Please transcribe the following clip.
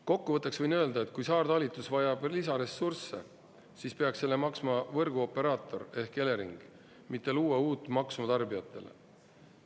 Kokkuvõtteks võin öelda, et kui saartalitus vajab lisaressursse, siis peaks selle maksma võrguoperaator ehk Elering, mitte luua uut maksu tarbijatele.